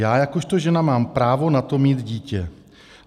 Já jakožto žena mám právo na to, mít dítě.